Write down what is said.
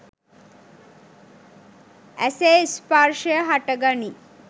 ඇසේ ස්පර්ෂය හටගනී